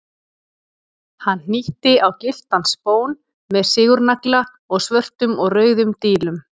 Hann hnýtti á gylltan spón með sigurnagla og svörtum og rauðum dílum.